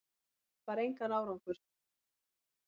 Það bar engan árangur.